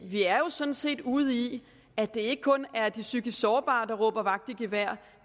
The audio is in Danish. vi er jo sådan set ude i at det ikke kun er de psykisk sårbare der råber vagt i gevær